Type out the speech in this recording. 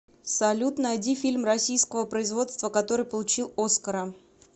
салют найди фильм российского производства который получил оскара